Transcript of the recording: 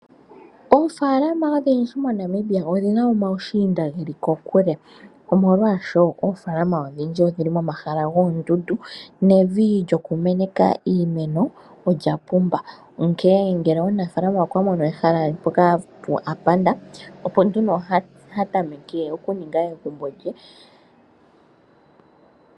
Oofaalama odhindji moNamibia odhina omaushiinda geli kokule, omolwaasho oofaalama odhindji odhili momahala goondundu nevi lyoku meneka iimeno olya pumba. Onkee ngele omunafaalama okwa mono ehala mpono a panda opo nduno ha tameke oku ninga egumbo lye.